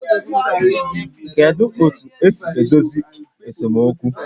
Kedu otu esi edozi esemokwu?